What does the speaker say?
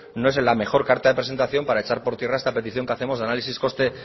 no es la mejor carta de presentación para echar por tierra esta petición que hacemos análisis coste